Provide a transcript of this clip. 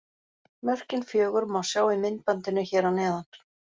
Mörkin fjögur má sjá í myndbandinu hér að neðan.